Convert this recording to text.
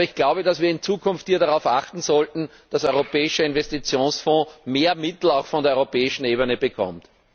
Aber ich glaube, dass wir in Zukunft hier darauf achten sollten, dass der Europäische Investitionsfonds mehr Mittel auch von der europäischen Ebene bekommt.